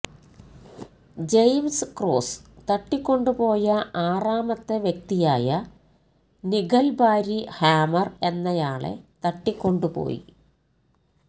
James Cross തട്ടിക്കൊണ്ടുപോയ ആറാമത്തെ വ്യക്തിയായ നിഗൽ ബാരി ഹാമർ എന്നയാളെ തട്ടിക്കൊണ്ടു പോയി